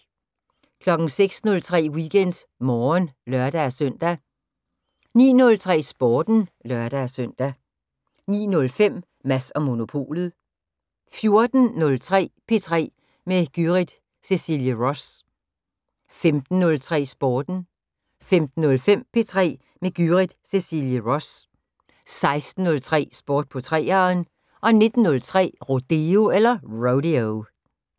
06:03: WeekendMorgen (lør-søn) 09:03: Sporten (lør-søn) 09:05: Mads & Monopolet 14:03: P3 med Gyrith Cecilie Ross 15:03: Sporten 15:05: P3 med Gyrith Cecilie Ross 16:03: Sport på 3'eren 19:03: Rodeo